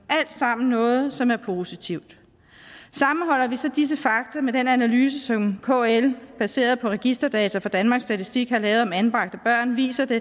alt sammen noget som er positivt sammenholder vi disse fakta med den analyse som kl baseret på registerdata fra danmarks statistik har lavet om anbragte børn viser det